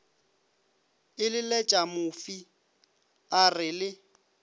eleletša mofi a re le